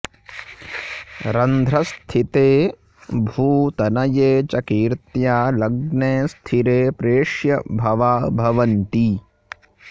रन्ध्रस्थिते भूतनये च कीर्त्या लग्ने स्थिरे प्रेष्यभवा भवन्ति